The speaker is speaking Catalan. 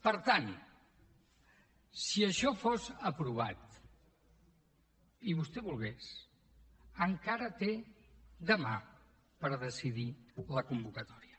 per tant si això fos aprovat i vostè volgués encara té dema per decidir la convocatòria